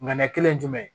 Ŋaniya kelen